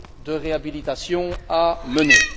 de réhabilitation à mener.